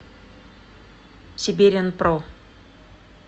сиберианпро